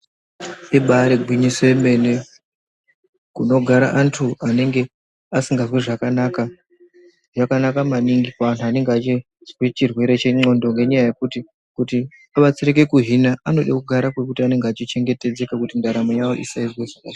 Ibaari gwinyiso remene kunogara antu anenge asikazwi zvakanaka, zvakanaka maningi kuantu anenge achizwa chirwere chendxondo ngenyaya yekuti kuti vabatsirike kuhina vanoda kugara pekuti anenge achichengetedzeka kuti ndaramo yavo iite zvakanaka.